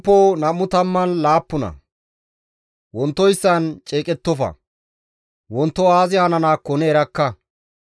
Wontoyssan ceeqettofa; wonto aazi hananaakko ne erakka.